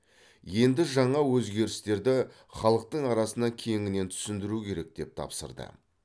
енді жаңа өзгерістерді халықтың арасына кеңінен түсіндіру керек деп тапсырды